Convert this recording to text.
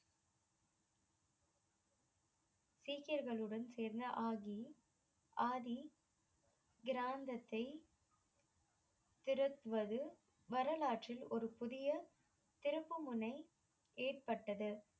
சீக்கியர்களுடன் சேர்ந்து ஆகி ஆதி கிராந்தத்தை திருத்துவது வரலாற்றில் ஒரு புதிய திருப்புமுனை ஏற்பட்டது.